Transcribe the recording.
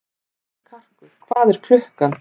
Karkur, hvað er klukkan?